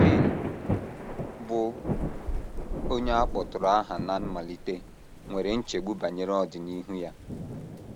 Shane, bụ́ onye a kpọtụrụ aha ná mmalite, nwere nchegbu banyere ọdịnihu ya.